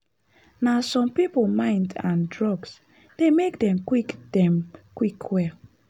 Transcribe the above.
na some people mind and drugs dey make them quick them quick well.